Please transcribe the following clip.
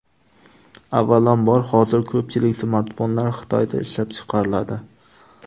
Avvalambor, hozir ko‘pchilik smartfonlar Xitoyda ishlab chiqariladi.